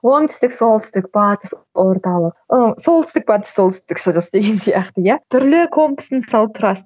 оңтүстік солтүстік батыс орталық ы солтүстік батыс солтүстік шығыс деген сияқты иә түрлі компастың мысалы тұрасың